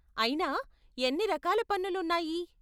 అయినా, ఎన్ని రకాల పన్నులు ఉన్నాయి?